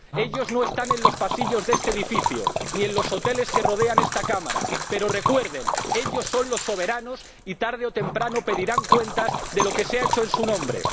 Ellos no están en los pasillos de este edificio, ni en los hoteles que rodean esta Cámara, pero recuerden, ellos son los soberanos y, tarde o temprano, pedirán cuentas de lo que se ha hecho en su nombre.